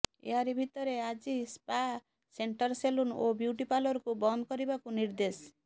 ଏହାରି ଭିତରେ ଆଜି ସ୍ପା ସେଂଟର ସେଲୁନ ଓ ବିୟୁଟିପାର୍ଲରକୁ ବନ୍ଦ କରିବାକୁ ନିର୍ଦ୍ଦେଶ